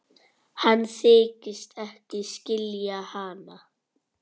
Hann þykist ekki skilja hana.